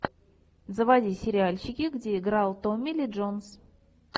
заводи сериальчики где играл томми ли джонс